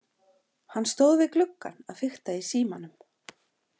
Hann stóð við gluggann að fikta í símanum.